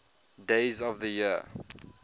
days of the year